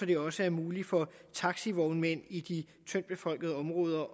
det også er muligt for taxivognmænd i de tyndt befolkede områder